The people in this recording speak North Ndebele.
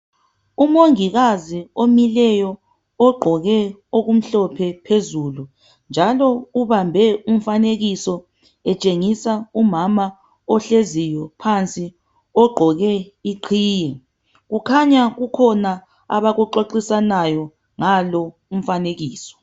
Umongikazi omileyo ogqoke okumhlophe phezulu njalo ubambe umfanekiso etshengisa umama ohleziyo phansi ogqoke iqhiye . Kukhanya kukhona abakuxoxisanayo ngalo umfanekiso.